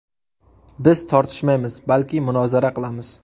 Biz tortishmaymiz, balki munozara qilamiz”.